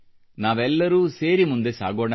ನಾವೆಲ್ಲರೂ ಸೇರಿ ಮುಂದೆ ಸಾಗೋಣ